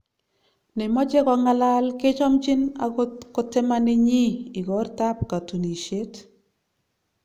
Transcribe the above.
nemoche kongalal kechomchin agot kotimanenyin ikortab katunisiet